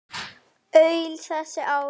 Öll þessi ár.